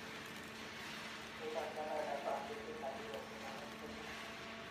Koikochi Amerika kandondet Maduro tononet nekiim